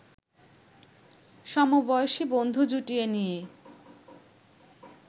সমবয়সী বন্ধু জুটিয়ে নিয়ে